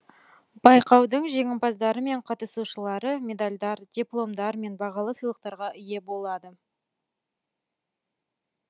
байқаудың жеңімпаздары мен қатысушылары медальдар дипломдар мен бағалы сыйлықтарға ие болады